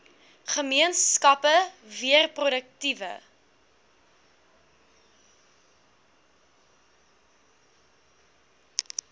gemeenskappe weer produktiewe